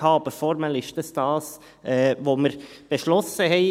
Aber formell ist es das, was wir beschlossen hatten.